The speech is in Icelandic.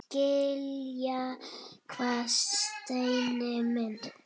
Skilja hvað, Steini minn?